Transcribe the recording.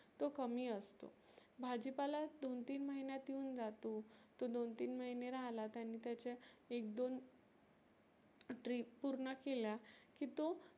तो कमी असतो. भाजी पाला दोन तीन महिन्यात येऊन जातो. तो दोन तीन महीने राहला त्यानी त्याचे एक दोन टी पुर्ण केल्या की तो